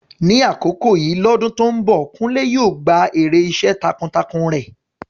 Ní àkókò yìí lọ́dún tó ń bọ̀, Kunle yóò gba èrè iṣẹ́ takuntakun rẹ̀.